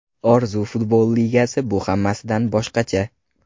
Orzu Futbol Ligasi: Bu hammasidan boshqacha!.